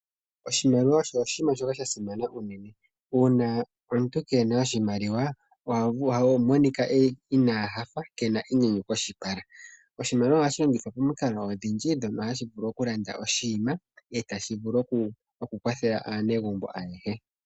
Oshimaliwa osho oshinima shoka sha simana unene. Uuna omuntu keena oshimaliwa, oha monika inaa nyanyukwa, ano kena enyanyu koshipala. Oshimaliwa ohashi longithwa momikalo odhindji, mono hashi vulu okulanda oshinima, shoka tashi vulu okukwathela aanegumbo ayehe.